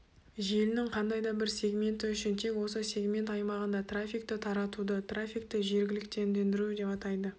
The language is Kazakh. желінің қандай да бір сегменті үшін тек осы сегмент аймағында трафикті таратуды трафикті жергіліктендіру деп атайды